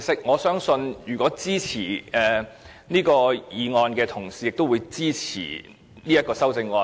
我相信，支持《條例草案》的同事，也會支持這項修正案。